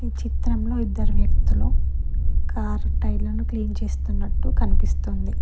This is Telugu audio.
చిత్రంలో ఇద్దరు వ్యక్తులు కారు టైర్లను క్లీన్ చేస్తున్నట్టు కనిపిస్తుంది.